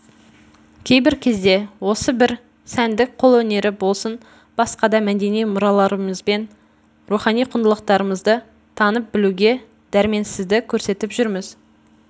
кейбір кезде осы бір сәндік қолөнері болсын басқа да мәдени мұраларымызбен рухани құндылықтарымызды танып білуге дәрменсіздік көрсетіп жүрміз